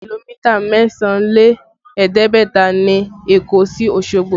Kìlómítà mẹ́sàn án lé ẹ̀ẹ́dẹ́gbẹ̀ta ni Èkó sí Osogbo